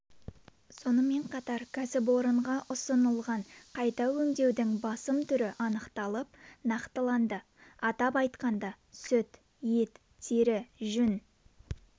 сонымен қатар кәсіпорынға ұсынылған қайта өңдеудің басым түрі анықталып нақтыланды атап айтқанда сүт ет тері жүн